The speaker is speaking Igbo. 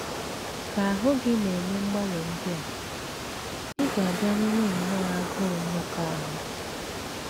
Ka ahụ́ gị na - eme mgbanwe ndị a, ị ga - abịa nwewe nnọọ agụụ mmekọahụ.